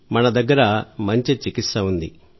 మన దగ్గర మంచి చికిత్స ఉంది